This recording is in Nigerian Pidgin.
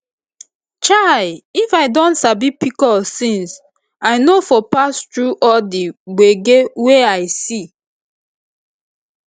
chai if i don sabi pcos since i no for pass through all the gbege wey i see